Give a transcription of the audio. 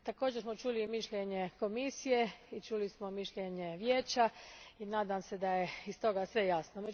Također smo čuli mišljenje Komisije i mišljenje Vijeća i nadam se da je iz toga sve jasno.